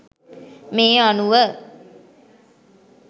මේ අනුව